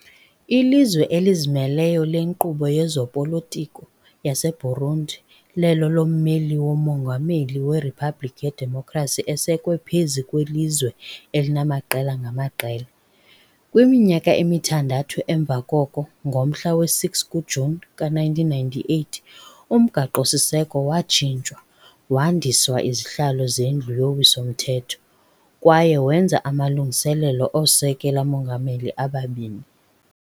Ilizwe elizimeleyo lenkqubo yezopolitiko yaseBurundi lelo lommeli womongameli weriphabliki yedemokhrasi esekwe phezu kwelizwe elinamaqela ngamaqela. Kwiminyaka emithandathu emva koko, ngomhla wesi-6 kuJuni ka-1998, umgaqo-siseko watshintshwa, wandiswa izihlalo zeNdlu yoWiso-mthetho kwaye wenza amalungiselelo oosekela-mongameli ababini.